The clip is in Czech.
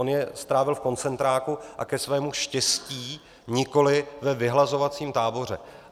On je strávil v koncentráku a - ke svému štěstí - nikoli ve vyhlazovacím táboře.